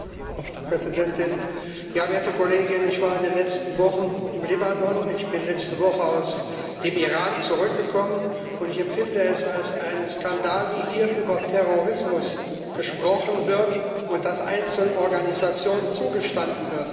Frau Präsidentin, werte Kollegen! Ich war in den letzten Wochen im Libanon, ich bin letzte Woche aus dem Iran zurückgekommen, und ich empfinde es als einen Skandal, wie hier über Terrorismus gesprochen wird und das Einzelorganisationen zugestanden wird.